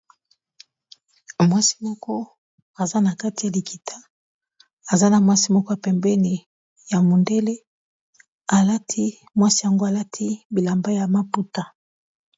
Mwasi moko aza na kati ya likita aza na mwasi moko ya pembeni ya mondele alati mwasi yango alati bilamba ya maputa.